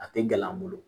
A tɛ glan an bolo